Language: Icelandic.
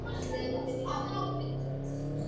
Mér þótti það ekki verra, það segi ég satt.